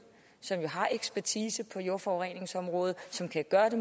som har ekspertise på jordforureningsområdet som kan gøre det